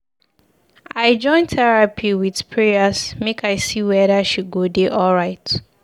I join terapi wit prayers make I see weda she go dey alright.